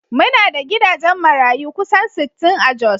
Muna da gidajen marayu kusan sittin a Jos